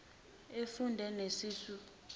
ufunde nesisu esingaka